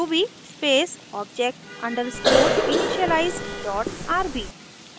ruby space object underscore initialize dot rb